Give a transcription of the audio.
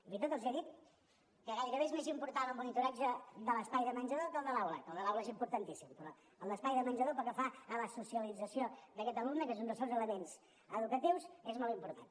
fins i tot els he dit que gairebé és més important el monitoratge de l’espai de menjador que el de l’aula que el de l’aula és importantíssim però el d’espai de menjador pel que fa a la socialització d’aquest alumne que és un dels seus elements educatius és molt important